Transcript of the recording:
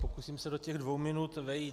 Pokusím se do těch dvou minut vejít.